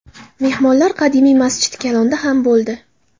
Mehmonlar qadimiy Masjidi Kalonda ham bo‘ldi.